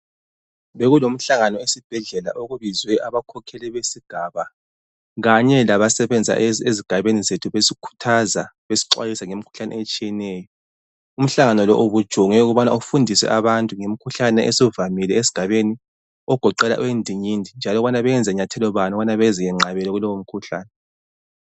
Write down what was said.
Bekulomhlangano esibhedlela okubizwe abakhokheli besigaba kanye labasebenza ezigabeni zethu, besikhuthaza, besixwayisa ngemkhuhlane etshiyeneyo. Umhlangano lo ubujonge ukubana ufundise abantu ngemikhuhlane esivamile esigabeni ogoqela owendingindi njalo ukubana benze nyathelo bani ukuze benqabele lowomkhuhlane.